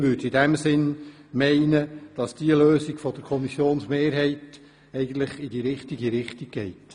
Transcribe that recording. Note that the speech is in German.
In diesem Sinn bin ich der Meinung, dass die Lösung der Kommissionsmehrheit in die richtige Richtung geht.